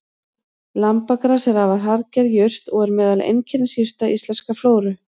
Lambagras er afar harðger jurt og er meðal einkennisjurta íslenskrar flóru.